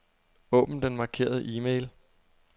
Åbn den markerede e-mail.